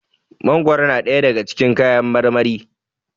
mangoro na daya daga cikin kayan marmari